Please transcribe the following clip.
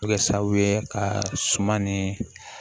A bɛ kɛ sababu ye ka suma ni